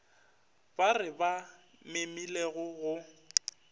ba re ba memilego go